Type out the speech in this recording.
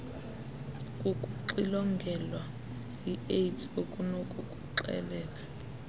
kukuxilongelwa iaids okunokukuxelela